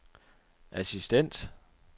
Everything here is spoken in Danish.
assistent